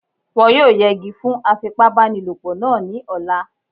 Wọ́n yóò yẹgi fún afipábanílòpọ̀ náà ní ọ̀la